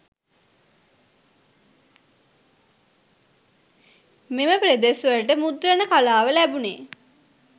මෙම පෙදෙස්වලට මුද්‍රණ කලාව ලැබුණේ